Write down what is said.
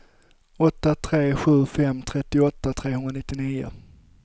åtta tre sju fem trettioåtta trehundranittionio